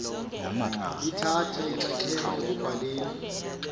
lithatha inxaxheba ekubhaleni